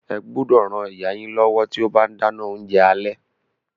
Ẹ gbúdọ̀ ran ìyá yín lọ́wọ́ tí ó bá ń dáná oúnjẹ alẹ́.